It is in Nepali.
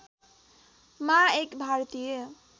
मा एक भारतीय